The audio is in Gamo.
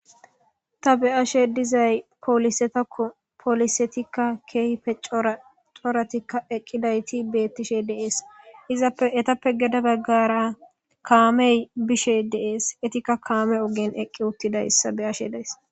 Ta be'ashe dizay polisetako polisetika kehipe c'ora c'oratika eqidayti betishe dees izappe gede bagara kamey be'ishe dees etika kame ogeni eqi utidaysa be'ashe days.